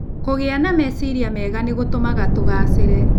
Kũgĩa na meciiria mega nĩ gũtũmaga tũgaacĩre.